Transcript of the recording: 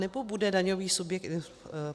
Anebo bude daňový subjekt...